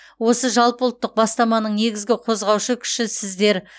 осы жалпыұлттық бастаманың негізгі қозғаушы күші сіздер